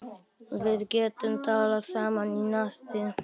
Við getum talað saman í næði